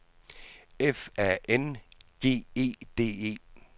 F A N G E D E